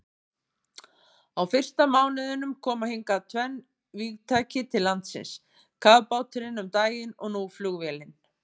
Á fyrsta mánuðinum koma hingað tvenn vígtæki til landsins, kafbáturinn um daginn og nú flugvélin.